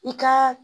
I ka